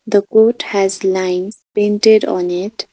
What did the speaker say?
The coat has lines painted on it .